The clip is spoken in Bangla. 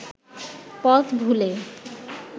পথ ভুলে